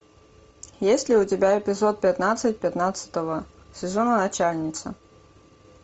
есть ли у тебя эпизод пятнадцать пятнадцатого сезона начальница